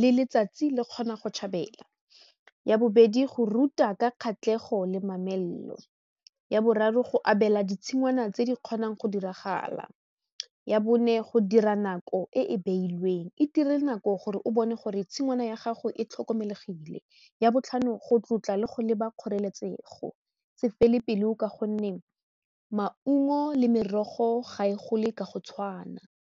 le letsatsi le kgona go tshabela ya bobedi go ruta ka kgatlhego le mamello ya boraro go abela ditshingwana tse di kgonang go diragala ya bone go dira nako e e beilweng e dire nako gore o bone gore tshingwana ya gago e tlhokomelesegile, ya botlhano go tlotla le go leba kgoreletsego se fele pele ka gonne maungo le merogo ga e gole ka go tshwana.